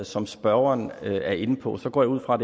som spørgeren er inde på går jeg ud fra